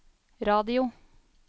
radio